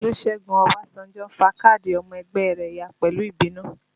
Olusegun Obasanjo fa káàdì ọmọ ẹgbẹ́ rẹ ya pẹ̀lú ìbínú